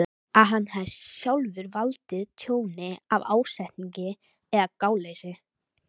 að hann hafi sjálfur valdið tjóni af ásetningi eða gáleysi.